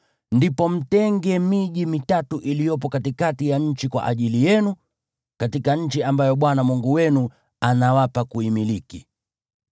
ndipo mtenge miji mitatu iliyopo katikati ya nchi kwa ajili yenu, katika nchi ambayo Bwana Mungu wenu anawapa kuimiliki.